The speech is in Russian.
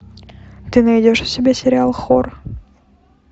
ты найдешь у себя сериал хор